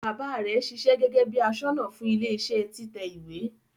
Baba rẹ ṣiṣẹ́ gẹgẹ bi aṣọ́nà fún ilẹ iṣẹ títẹ ìwé.